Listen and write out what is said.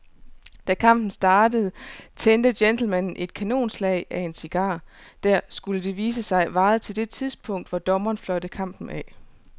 Da kampen startede tændte gentlemanen et kanonslag af en cigar, der, skulle det vise sig, varede til det tidspunkt, hvor dommeren fløjtede kampen af.